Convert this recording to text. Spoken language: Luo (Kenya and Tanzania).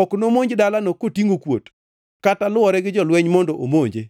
Ok nomonj dalano kotingʼo kuot kata lwore gi jolweny mondo omonje.